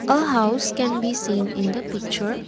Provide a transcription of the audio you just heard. a house can be seen in the picture.